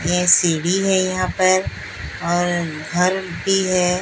ये सीढी है यहां पर और घर भी है।